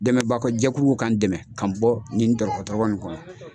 Dɛmɛbako jɛkuluw ka n dɛmɛ k'an bɔ nin tɔrɔgɔ tɔrɔgɔ in kɔnɔ.